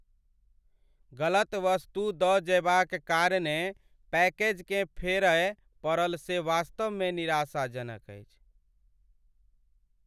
गलत वस्तु दऽ जयबाक कारणेँ पैकेजकेँ फेरय पड़ल से वास्तवमे निराशाजनक अछि।